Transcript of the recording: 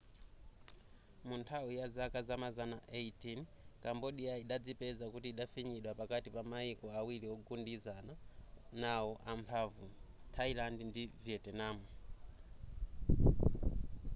munthawi yazaka zamazana 18 cambodia idadzipeza kuti inafinyidwa pakati pa mayiko awiri ogundizana nawo amphamvu thailand ndi vietnam